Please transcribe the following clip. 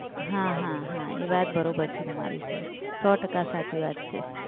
હા હા હા એ વાત બરોબર છે તમારી સર. સો ટક્કા સાચી વાત છે.